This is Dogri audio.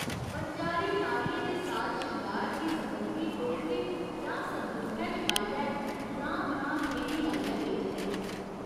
बनजारे नारियें दे साज शंगार दी समग्गरी टोकरे जां संदूखै च पाइयै ग्रां ग्रां फेरी लाइयै बेचदे न।